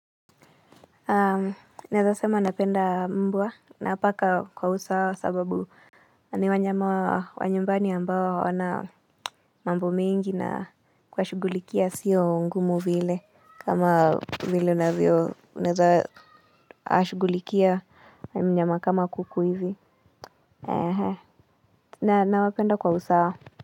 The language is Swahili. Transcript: Naeza sema napenda mbwa na paka kwa usawa sababu ni wanyama wa nyumbani ambao hawana mambo mengi na kuwashughulikia sio ngumu vile kama vile unavyo unaweza shughulikia mnyama kama kuku hivi. Na nawapenda kwa usawa.